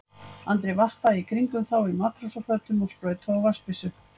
Andri vappaði í kringum þá á matrósafötum og sprautaði úr vatnsbyssu.